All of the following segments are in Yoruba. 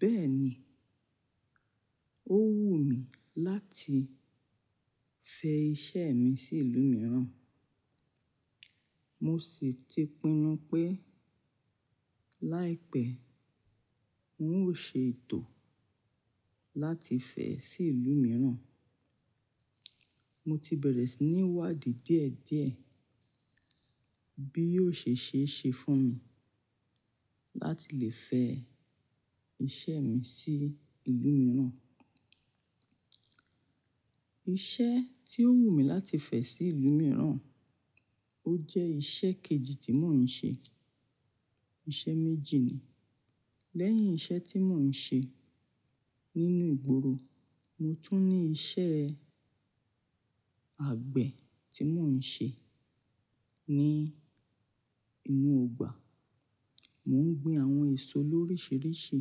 Bẹ́ẹ̀ni, ó wù mí láti fẹ iṣẹ́ mi sí ìlú mìíràn. Mo sì ti pinnu pé láìpẹ́, ń ó ṣe ètò láti fẹ sí ìlú mìíràn. Mo ti bẹ̀rẹ̀ sí ní wádìí díẹ̀ díẹ̀ bí yóò ṣe ṣe é ṣe fún mi láti lè fẹ iṣẹ́ mi sí ìlú mìíràn. Iṣẹ́ tí ó wù mí láti fẹ sí ìlú mìíràn, ó jẹ́ iṣẹ́ kejì tí mò ń ṣe. Iṣẹ́ méjì ni. Lẹ́yìn iṣẹ́ tí mò ń ṣe nínú ìgboro, mo tún ní iṣẹ́ àgbẹ̀ tí mò ń ṣe ní inú ọgbà. Mò ń gbin àwọn èso oríṣiríṣi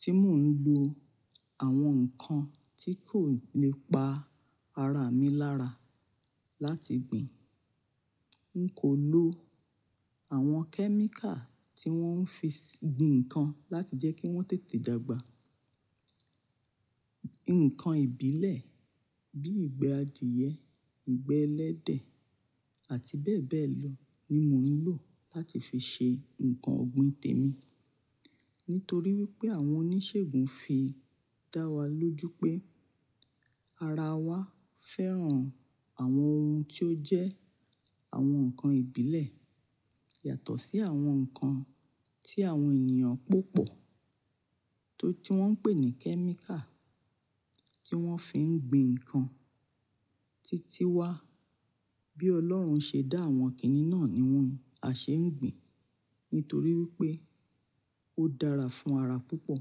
tí mò ń lo àwọn nǹkan tí kò lè pa ara mi lára láti gbin. N kò lo àwọn kẹ́míkà tí wọ́n fi ń gbin nǹkan láti jẹ́ kí wọ́n tètè dàgbà. Nǹkan ìbílẹ̀ bí ìgbẹ́ adìẹ, ìgbẹ́ ẹlẹ́dẹ̀ àti bẹ́ẹ̀ bẹ́ẹ̀ lọ ni mò ń lò láti fi ṣe nǹkan ọ̀gbìn tèmi. Nítorí wípé àwọn oníṣègùn fi dá wa lójú pé ara wa fẹ́ràn àwọn ohun tí ó jẹ́ àwọn ǹkan ìbílẹ̀ yàtọ̀ sí àwọn ǹkan tí àwọn ènìyàn pópò tó tí wọ́n ń pè ní kẹ́míkà kí wọ́n fi ń gbin nǹkan titi wa. Bí Ọlọ́run ṣe dá àwọn kìnìún náà ni wọ́n a ṣe ń gbin. Nítorí wípé ó dára fún ara púpọ̀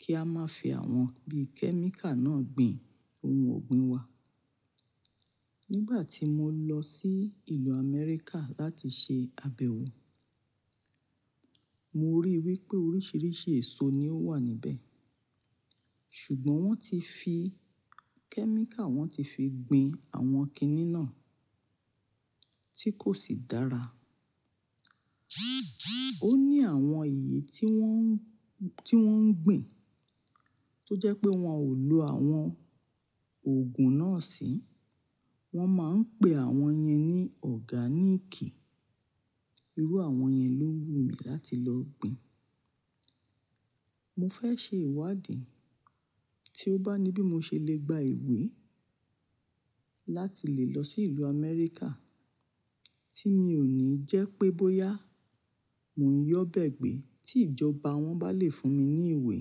kí a máa fi àwọn bí kẹ́míkà náà gbin ohun ọ̀gbìn wa. Nígbà tí mo lọ sí ìlú Amẹ́ríkà láti ṣe àbẹ̀wò, mo ríi wípé oríṣiríṣi èso ni ó wà níbẹ̀. Ṣùgbọ́n wọ́n ti fi kẹ́míkà, wọ́n ti fi gbin àwọn kìnì náà tí kò sì dára. Ó ní àwọn èyí tí wọ́n, tí wọ́n ń gbin tó jẹ́ pé wọn ò lo àwọn òògùn náà sí. Wọ́n máa ń pe àwọn yẹn ní ọ̀gáníìkì. Irú àwọn yẹn ló wù mí láti lọ gbin. Mo fẹ́ ṣe ìwádìí tí ó bá ní bí mo ṣe lè gba ìwé láti lè lọ sí ìlú Amẹ́ríkà tí mi ò ní jẹ́ pé bóyá mò ń yọ́ bẹ́ẹ̀ gbé tí ìjọba wọn bá lè fún mi ní ìwé,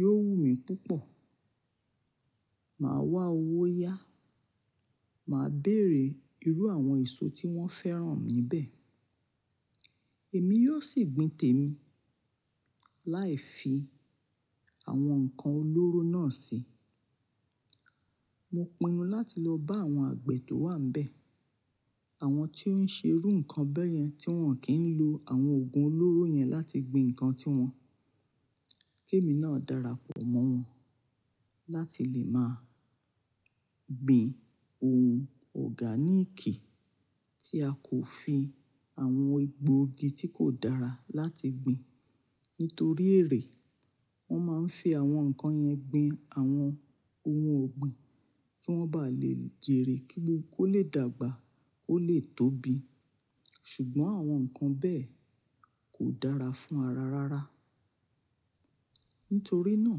yóò wù mí púpọ̀. Màá wá owó yá, màá béèrè irú àwọn èso tí wọ́n fẹ́ràn níbẹ̀. Èmi yóò sì gbin tèmi láì fi àwọn ǹkan olóró náà sí. Mo pinnu láti lọ bá àwọn àgbẹ̀ tó wà níbẹ̀, àwọn tí ó ń ṣe irú nǹkan bẹ́yẹn tí wọ́n kì ń lo àwọn òògùn olóró yẹn láti gbin nǹkan tí wọn. Kí èmi náà darapọ̀ mọ́ wọn láti lè máa gbin ohun ọ̀gáníìkì tí a kò fi àwọn egbòogi tí kò dára láti gbin. Nítorí èrè wọ́n máa ń fi àwọn nǹkan yẹn gbin àwọn ohun ọ̀gbìn kí wọ́n bá lè jèrè kí ó lè dàgbà, kó lè tóbi. Ṣùgbọ́n àwọn nǹkan bẹ́ẹ̀ kò dára fún ara rárá. Nítorí náà,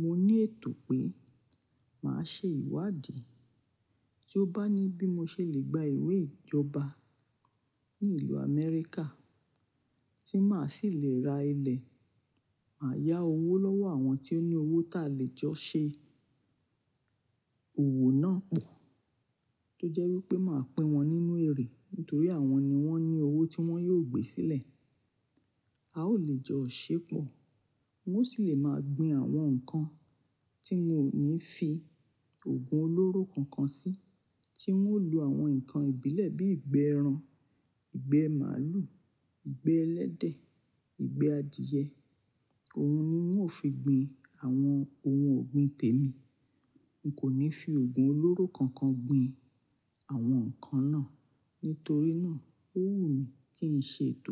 mo ní ètò pé màá ṣe ìwádìí tí ó bá ní bí mo ṣe lè gba ìwé ìjọba ní ìlú Amẹ́ríkà tí màá sì lè ra ilẹ̀, màá yá owó lọ́wọ́ àwọn tí ó ní owó táa lè jọ ṣe òwò náà pọ̀ tó jẹ́ wípé màá pín wọn nínú èrè. Nítorí àwọn ni wọ́n ní owó tí wọ́n yóò gbé sílẹ̀. A ó lè jọ ṣepọ̀. Mo sì lè máa gbin àwọn nǹkan tí n ò ní fi òògùn olóró kankan sí tí ń ó lo àwọn ǹkan ìbílẹ̀ bí ìgbẹ́ ẹran, ìgbẹ́ màlúù, ìgbẹ́ ẹlẹ́dẹ̀, ìgbẹ́ adìẹ. Òun ni n wo ó fi gbin àwọn ohun ọ̀gbìn tèmi. N kò ní fi òògùn olóró kankan gbin àwọn nǹkan náà. Nítorí náà, ó wù mí kí n ṣe ètò.